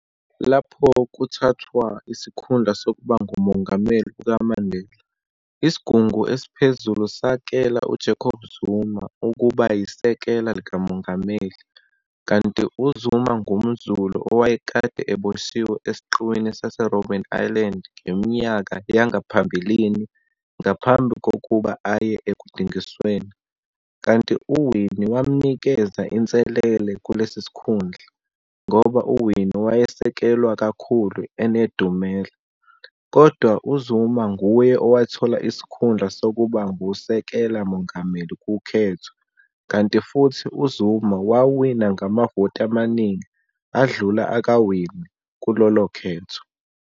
Lapho kuthathwa isikhundla sokuba nguMongameli kukaMandela, isigungu esiphezulu, sakela u-Jacob Zuma, ukuba yisekela likaMongameli, kanti uZuma ngumZulu owayekade eboshiwe esiqiwini sase-Robben Island ngeminyaka yangaphambilini ngaphambi kokuba aye ekudingisweni, kanti uWinnie wamnikeza inselele kulesi sikhundla, ngoba uWinnie wayesekelwa kakhulu enedumela, kodwa-uZuma nguye owathola isikhundla sokuba ngusekela mongameli kukhetho, kanti futhi uZuma wawina ngamavoti amaningi adlula akaWinnie kulolo khetho.